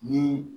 Ni